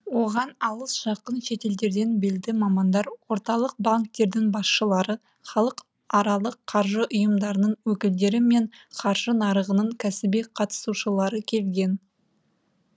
оған алыс жақын шетелдерден белді мамандар орталық банктердің басшылары халықаралық қаржы ұйымдарының өкілдері мен қаржы нарығының кәсіби қатысушылары келген